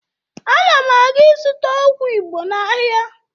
Ana m aga ịzụta ọgwụ Igbo n'ahịa